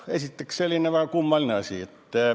Selline kummaline asi.